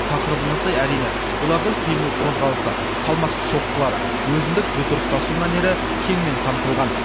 тақырыбына сай әрине олардың қимыл қозғалысы салмақты соққылары өзіндік жұдырықтасу мәнері кеңінен қамтылған